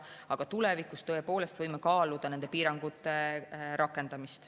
Aga tulevikus tõepoolest võime kaaluda nende piirangute rakendamist.